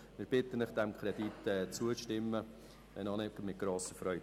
Wir bitten Sie, dem Kredit zuzustimmen, wenn auch nicht mit grosser Freude.